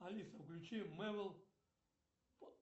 алиса включи мэвл